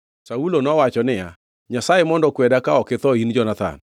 Saulo nowacho niya, “Nyasaye mondo okweda, ka ok itho in Jonathan.”